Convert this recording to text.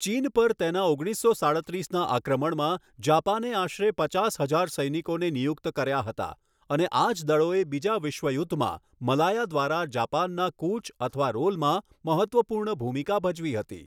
ચીન પર તેના ઓગણીસો સાડત્રીસના આક્રમણમાં, જાપાને આશરે પચાસ હજાર સૈનિકોને નિયુક્ત કર્યા હતા, અને આ જ દળોએ બીજા વિશ્વયુદ્ધમાં મલાયા દ્વારા જાપાનના કૂચ અથવા રોલમાં મહત્ત્વપૂર્ણ ભૂમિકા ભજવી હતી.